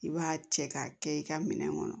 I b'a cɛ k'a kɛ i ka minɛn kɔnɔ